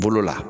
Bolo la